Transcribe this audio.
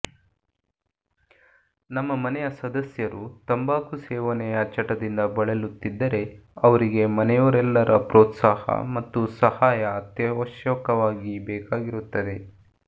ನಮ್ಮ ಮನೆಯ ಸದಸ್ಯರು ತಂಬಾಕು ಸೇವನೆಯ ಚಟದಿಂದ ಬಳಲುತ್ತಿದ್ದರೆ ಅವರಿಗೆ ಮನೆಯವರೆಲ್ಲರ ಪ್ರೋತ್ಸಾಹ ಮತ್ತು ಸಹಾಯ ಅತ್ಯವಶ್ಯಕವಾಗಿ ಬೇಕಾಗಿರುತ್ತದೆ